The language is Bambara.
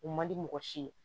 U man di mɔgɔ si ye